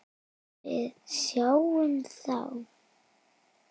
Við sjáumst þá!